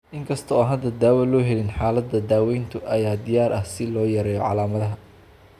Inkasta oo aan hadda dawo loo helin xaaladda, daawaynta ayaa diyaar ah si loo yareeyo calaamadaha.